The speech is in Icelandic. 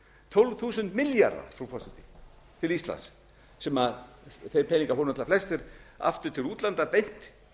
tólf þúsund milljarða frú forseti til íslands sem þeir peningar fóru náttúrlega flestir aftur til útlanda beint